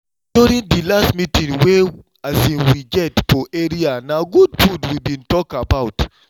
during the last meeting wey um we get for area na good food we been talk about